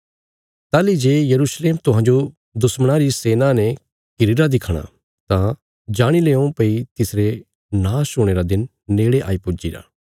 ताहली जे यरूशलेम तुहांजो दुश्मणां री सेना ने घिरीरा दिखणा तां जाणी लेओं भई तिसरे नाश हुणे रा दिन नेड़े आई पुज्जीरा